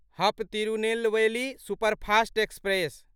हप Tirunelveli superfast express